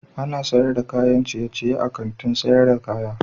Ana sayar da kayan ciyeciye a Kantin sayar da kaya.